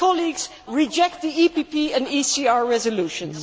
Colleagues, reject the EPP and ECR resolutions.